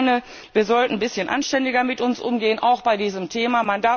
Ich meine, wir sollten ein bisschen anständiger mit uns umgehen, auch bei diesem Thema.